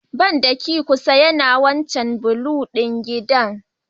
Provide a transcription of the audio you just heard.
Bandaki mafi kusa yana a wancan blue ɗin gidan